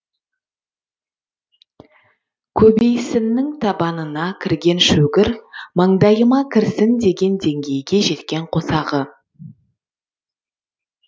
көбейсіннің табанына кірген шөгір маңдайыма кірсін деген деңгейге жеткен қосағы